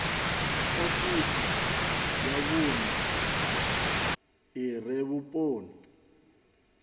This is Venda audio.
ofisi ya vhune ire vhuponi